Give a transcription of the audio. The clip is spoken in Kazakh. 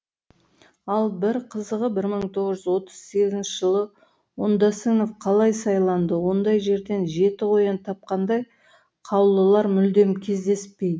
ал бір қызығы бір мың тоғыз жүз отыз сегізінші жылы оңдасынов қалай сайланды ондай жерден жеті қоян тапқандай қаулылар мүлдем кездеспейді